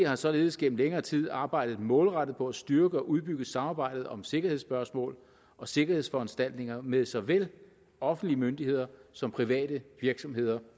har således gennem længere tid arbejdet målrettet på at styrke og udbygge samarbejdet om sikkerhedsspørgsmål og sikkerhedsforanstaltninger med såvel offentlige myndigheder som private virksomheder